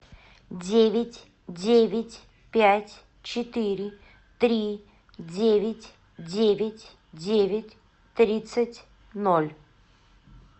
девять девять пять четыре три девять девять девять тридцать ноль